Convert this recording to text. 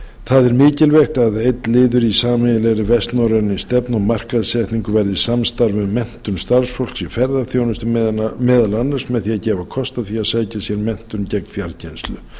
það er mikilvægt að mikilvægt að einn liður í sameiginlegri vestnorrænni stefnu og markaðssetningu verði samstarf um menntun starfsfólks í ferðaþjónustu meðal annars með því að gefa því kost á að sækja sér menntun gegnum fjarkennslu